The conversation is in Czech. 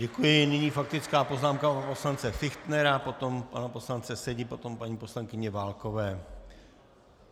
Děkuji, nyní faktická poznámka pana poslance Fichtnera, potom pana poslance Sedi, potom paní poslankyně Válkové.